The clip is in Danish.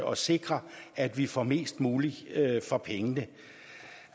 og sikre at vi får mest muligt for pengene